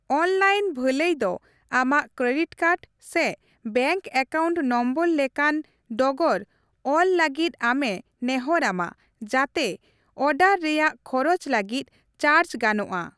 Online ᱵᱷᱟᱹᱞᱟᱹᱭ ᱫᱚ ᱟᱢᱟᱜ ᱠᱨᱮᱰᱤᱴ ᱠᱟᱨᱰ ᱥᱮ ᱵᱮᱝᱠ ᱮᱠᱟᱣᱩᱱᱴ ᱱᱚᱢᱵᱚᱨ ᱞᱮᱠᱟᱱ ᱰᱚᱜᱚᱨ ᱚᱞ ᱞᱟᱹᱜᱤᱫ ᱟᱢᱮ ᱱᱮᱦᱚᱨ ᱟᱢᱟ ᱡᱟᱛᱮ ᱚᱰᱟᱨ ᱨᱮᱭᱟᱜ ᱠᱷᱚᱨᱚᱪ ᱞᱟᱹᱜᱤᱫ ᱪᱟᱨᱡᱽ ᱜᱟᱱᱚᱜᱼᱟ ᱾